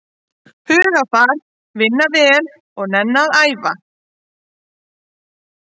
Hugarfar, vinna vel og nenna að æfa.